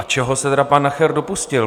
A čeho se tedy pan Nacher dopustil?